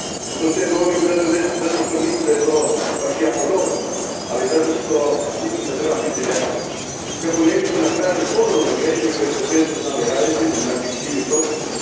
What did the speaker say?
To sve govorim ne zato što mislim da je sve to baš jako dobro nego zato što mislim da trebamo biti realni kako ne bismo ponovo napravili greške koje smo često znali raditi zbog naših krivih procjena.